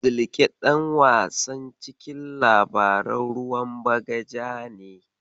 Zilƙe ɗan wasan cikin labaran ruwan bagaja ne.